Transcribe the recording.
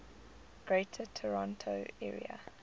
greater toronto area